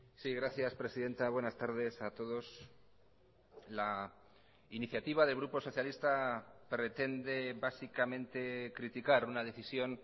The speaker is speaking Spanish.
sí gracias presidenta buenas tardes a todos la iniciativa del grupo socialista pretende básicamente criticar una decisión